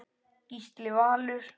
Gísli Valur.